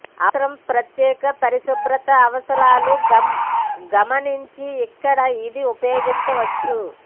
అవసరం ప్రత్యేక పరిశుభ్రత అవసరాలు గమనించి ఇక్కడ ఇది ఉపయోగించవచ్చు